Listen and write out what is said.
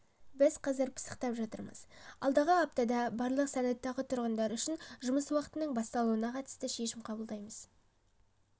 біз қазір пысықтап жатырмыз алдағы аптада барлық санаттағы тұрғындар үшін жұмыс уақытының басталуына қатысты шешім қабылдаймыз